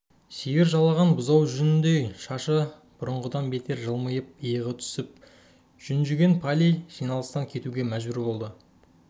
сиыр жалаған бұзау жүніндей шашы бұрынғыдан бетер жылмиып иығы түсіп жүнжіген палий жиналыстан кетуге мәжбүр болды